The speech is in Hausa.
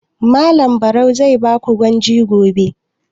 Malam Barau zai ba ku gwaji gobe?